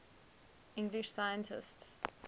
english scientists